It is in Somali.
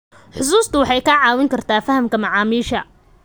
Xusuustu waxay kaa caawin kartaa fahamka macaamiisha.